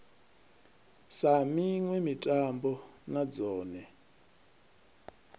sa miṋwe mitambo na dzone